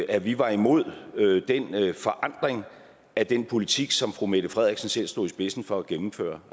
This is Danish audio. at vi var imod den forandring af den politik som fru mette frederiksen selv stod i spidsen for at gennemføre